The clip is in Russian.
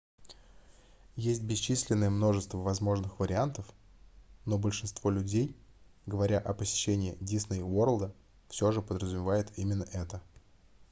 есть бесчисленное множество возможных вариантов но большинство людей говоря о посещении дисней уорлда все же подразумевают именно это